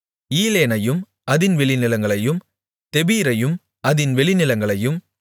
ஈலேனையும் அதின் வெளிநிலங்களையும் தெபீரையும் அதின் வெளிநிலங்களையும்